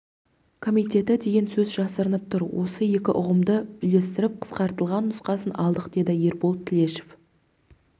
комитеті деген сөз жасырынып тұр осы екі ұғымды үйлестіріп қысқартылған нұсқасын алдық деді ербол тілешов